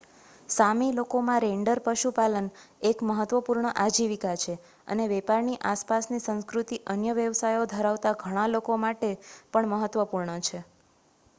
સામી લોકોમાં રેઇન્ડર પશુપાલન એક મહત્વપૂર્ણ આજીવિકા છે અને વેપારની આસપાસની સંસ્કૃતિ અન્ય વ્યવસાયો ધરાવતા ઘણા લોકો માટે પણ મહત્વપૂર્ણ છે